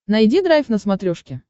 найди драйв на смотрешке